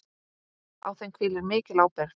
Á þeim hvílir mikil ábyrgð.